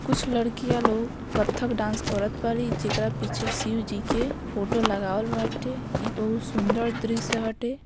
कुछ लड़कियां लोग कत्थक डांस करत बाड़ी जेकरा पीछे शिव जी के फोटो लगाल बाटे इ बहुत सुंदर दृश्य हटे।